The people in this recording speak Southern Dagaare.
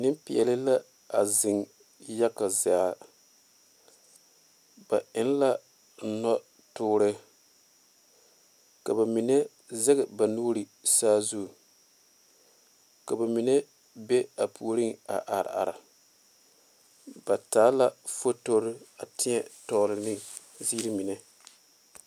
Nenpeɛle la a zeŋ yaga zaa ba eŋ la noɔ tɔɔre ka ba mine zage ba nuure sazu ka ba mine be a puori a are are ba taa la fotoore a tiɛ tɔgle ne ziiri mine.